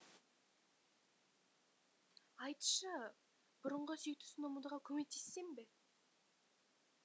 айтшы бұрынғы сүйіктісін ұмытуға көмектессем бе